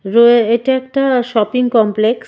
রোয়ে এটা একটা shopping complex .